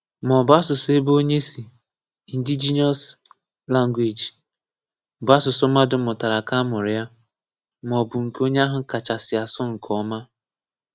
Ma ọ̀bụ́ asụ̀sụ́ ebe onye sì (indigenous language), bụ́ asụ̀sụ́ mmadụ mụ̀tárà ka a mụrụ ya, ma ọ̀bụ́ nke onye ahụ kacha sị asụ̀ nke ọma.